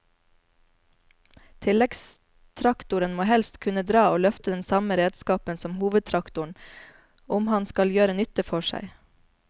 Tilleggstraktoren må helst kunne dra og løfte den samme redskapen som hovedtraktoren om han skal gjøre nytte for seg.